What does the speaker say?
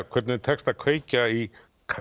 hvernig þeim tekst að kveikja í